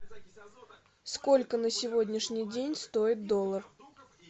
сколько на сегодняшний день стоит доллар